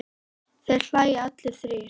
Þeir hlæja allir þrír.